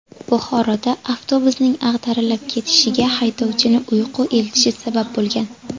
Buxoroda avtobusning ag‘darilib ketishiga haydovchini uyqu elitishi sabab bo‘lgan.